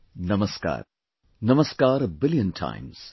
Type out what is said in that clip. Namaskar...namaskar a billion times